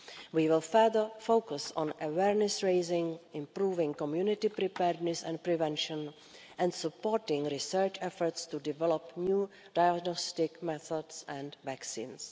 EU. We will further focus on awareness raising, improving community preparedness and prevention and supporting research efforts to develop new diagnostic methods and vaccines.